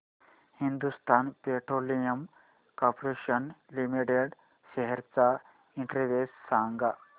Hindustan petroleum corporation limited shares चा index सांगा